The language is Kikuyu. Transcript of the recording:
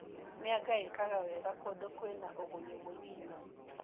Mianga ĩkaga wega kũndũ kwĩna ũgũnyu mũnini.